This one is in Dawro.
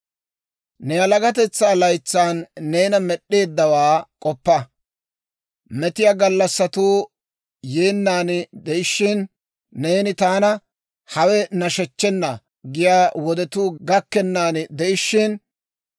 Ne yalagatetsaa laytsan neena Med'd'eeddawaa k'oppa. Metiyaa gallassatuu yeennan de'ishiina, neeni, «Taana hawe nashechchena» giyaa wodetuu gakkennan de'ishina,